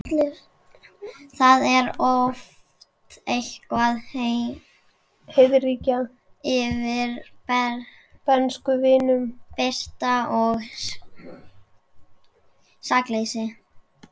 Það er oft einhver heiðríkja yfir bernskuvinum, birta og sakleysi.